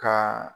Ka